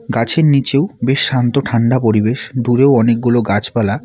গাছের নীচেও বেশ শান্ত ঠান্ডা পরিবেশ দূরেও অনেকগুলো গাছপালা।